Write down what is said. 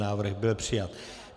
Návrh byl přijat.